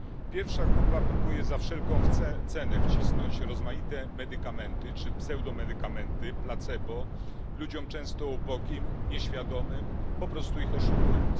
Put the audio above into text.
Pierwsza grupa próbuje za wszelką cenę wcisnąć rozmaite medykamenty czy pseudomedykamenty, placebo, ludziom często ubogim, nieświadomym po prostu ich oszukując.